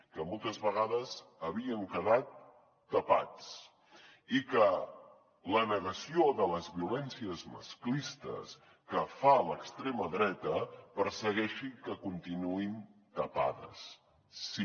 que moltes vegades havien quedat tapats i que la negació de les violències masclistes que fa l’extrema dreta persegueixi que continuïn tapades sí